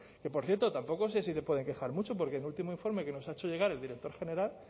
que por cierto tampoco sé si se pueden quejar mucho porque el último informe que nos ha hecho llegar el director general